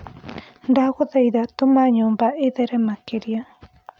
ndagũthaĩtha tũma nyumba ithere makĩrĩa